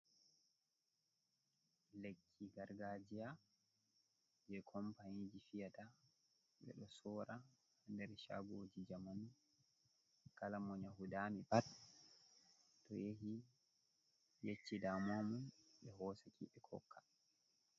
Lekki gargajiya je kompaniji fiyata ɓe ɗo sora nder shagoji jamanu kala mon hunde dami pat to yahi yecci damuwa mun, ɓe hosaki ɓe hokka.